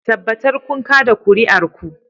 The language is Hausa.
Tabbatar kun kada kuri'ar ku